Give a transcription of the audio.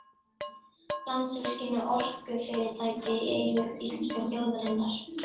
Landsvirkjun er orkufyrirtæki í eigu íslensku þjóðarinnar.